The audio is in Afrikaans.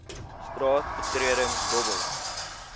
straat betreding dobbel